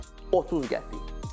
Tutaq ki, 30 qəpik.